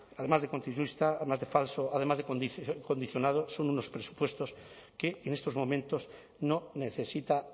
además de continuista además de falso además de condicionado son unos presupuestos que en estos momentos no necesita